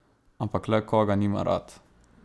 Ampak le koga nima rad?